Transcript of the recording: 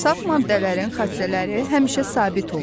Saf maddələrin xassələri həmişə sabit olur.